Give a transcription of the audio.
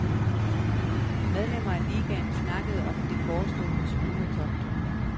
Medlemmer af ligaen snakkede om det forestående smuglertogt.